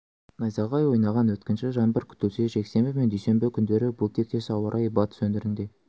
найзағай ойнаған өткінші жаңбыр күтілсе жексенбі мен дүйсенбі күндері бұл тектес ауа райы батыс өңірінде